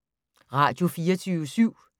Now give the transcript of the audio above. Radio24syv